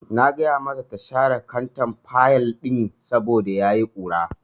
Na ce mata ta share kantar fayil ɗin saboda ya yi ƙura.